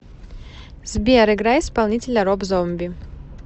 сбер играй исполнителя роб зомби